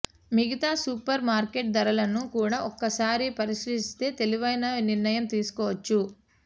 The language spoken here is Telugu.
మిగతా సూపర్ మార్కెట్ ధరలను కూడా ఒకసారి పరిశీలిస్తే తెలివైన నిర్ణయం తీసుకోవచ్చు